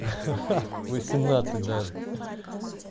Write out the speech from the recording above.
ха-ха восемнадцать даже